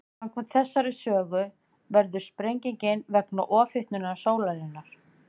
Samkvæmt þessari sögu verður sprengingin vegna ofhitnunar sólarinnar.